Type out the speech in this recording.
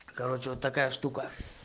короче вот такая штука